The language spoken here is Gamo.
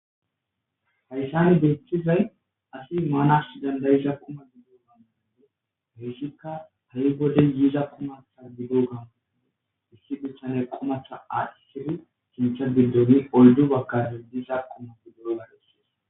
Hayssan bethizay assi manass danda'za qumakko heyssikka hi wode yizza qumma qomoko issi bithane assidi oydu bagara diza qumma besses.